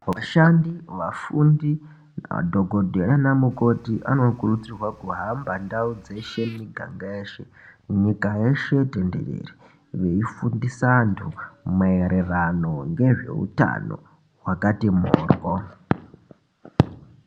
Vashandi vafundi madhokodheya nana mukoti vanokurudzirwa kuhamba ndau dzeshe miganga yeshe nyika yeshe tenderere veifundisa vantu nezvehutano wakati mhoryo.